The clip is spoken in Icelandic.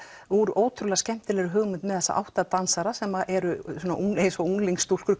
úr ótrúlega skemmtilegri hugmynd með þessa átta dansara sem eru eins og unglingsstúlkur